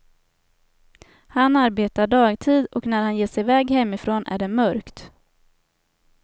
Han arbetar dagtid och när han ger sig i väg hemifrån är det mörkt.